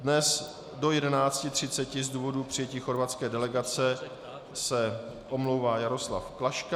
Dnes do 11.30 z důvodu přijetí chorvatské delegace se omlouvá Jaroslav Klaška.